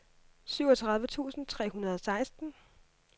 syvogtredive tusind tre hundrede og seksten